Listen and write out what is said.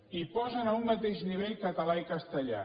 i posen a un mateix nivell català i castellà